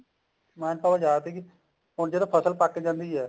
man power ਜਿਆਦਾ ਸੀਗੀ ਹੁਣ ਜਦੋਂ ਫਸਲ ਪੱਕ ਜਾਂਦੀ ਹੈ